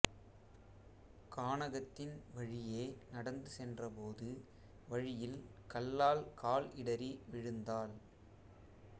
கானகத்தின் வழியே நடந்து சென்றபோது வழியில் கல்லால் கால் இடறி விழுந்தாள்